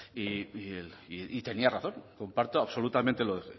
y tenía razón comparto absolutamente lo que